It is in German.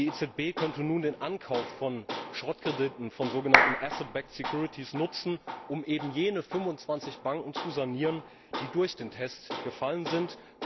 Die EZB könnte nun den Ankauf von Schrottkrediten, von sogenannten Asset Backed Securities nutzen, um eben jene 25 Banken zu sanieren, die durch den Test gefallen sind.